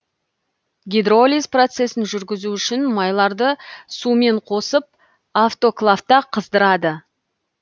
гидролиз процесін жүргізу үшін майларды сумен қосып автоклавта қыздырады